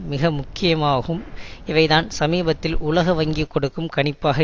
மிக முக்கியமாகும் இவைதான் சமீபத்தில் உலக வங்கி கொடுக்கும் கணிப்பாக